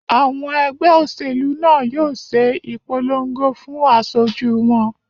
Àwọn ẹgbẹ́ òṣèlú náà yóò ṣe ìpolongo fún asojú wọn